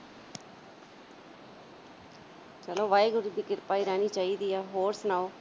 ਚਲੋ ਵਾਹਿਗੁਰੂ ਜੀ ਦੀ ਕਿਰਪਾ ਹੀ ਰਹਿਣੀ ਚਾਹੀਦਾ ਆ। ਹੋਰ ਸੁਣਾਓ।